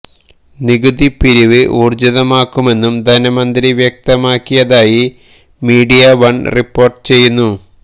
നികുതി പിരിവ് ഊര്ജ്ജിതമാക്കുമെന്നും ധനമന്ത്രി വ്യക്തമാക്കിയതായി മീഡിയ വൺ റിപ്പോർട്ട് ചെയ്യുന്നു